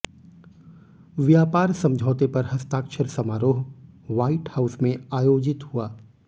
व्यापार समझौते पर हस्ताक्षर समारोह ह्वाइट हाउस में आयोजित हुआ